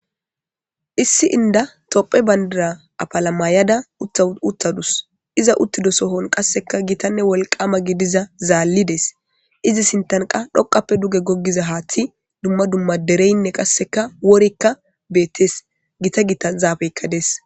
issi inda tophe bandira apalamaayada uttadus iza uttido sohon qasseka gitanne wolqama gidiza zaallides izi sintanqa dhoqappe duge goggiza haathi dumma dumma dereynne qasseka worikka beettes gita gita zaabeykkades